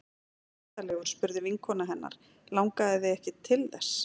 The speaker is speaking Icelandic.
Var hann myndarlegur? spurði vinkona hennar Langaði þig ekki til þess?